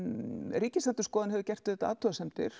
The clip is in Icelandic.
Ríkisendurskoðun hefur gert athugasemdir